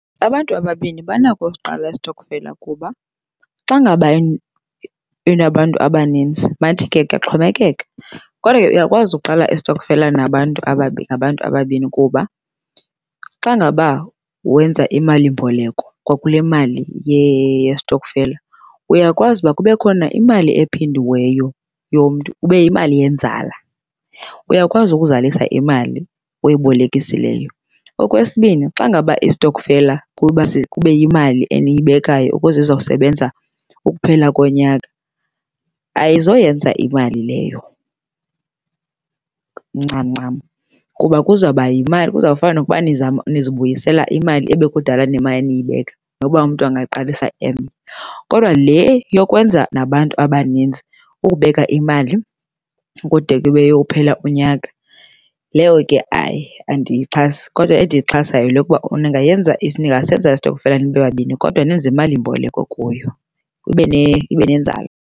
Abantu ababini banako usiqala istokfela kuba xa ngaba inabantu abaninzi, mandithi ke kuyaxhomekeka. Kodwa ke uyakwazi ukuqala istokfela nabantu nabantu ababini kuba xa ngaba wenza imalimboleko kwakule mali yestokfela uyakwazi ukuba kubekho imali ephindiweyo yomntu ibe yimali yenzala. Uyakwazi ukuzalisa imali oyibolekisileyo. Okwesibini, xa ngaba istokfela kube yimali eniyibekayo ukuze izosebenza ukuphela konyaka, ayizoyenza imali leyo ncam ncam kuba kuzawuba yimali. Kuzawufana nokuba nizama nizibuyisela imali ebekudala nimana niyibeka noba umntu angaqalisa emnye. Kodwa le yokwenza nabantu abaninzi ukubeka imali kude kuyophela unyaka, leyo ke hayi andiyixhasi. Kodwa endiyixhasayo yile yokuba ningayenza ningasenza istokfela nibe babini kodwa nenze imalimboleko kuyo, ibe ibe nenzala.